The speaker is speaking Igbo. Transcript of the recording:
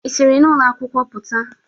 Ị siri n'ụlọ akwụkwọ pụta?